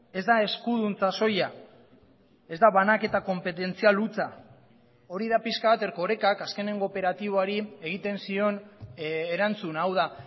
ez da eskuduntza soila ez da banaketa konpetentzial hutsa hori da pixka bat erkorekak azkenengo operatiboari egiten zion erantzuna hau da